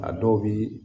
A dɔw bii